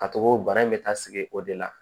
Ka to ko bana in bɛ taa sigi o de la